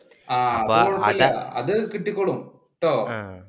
അത് കിട്ടിക്കോളും ട്ടോ.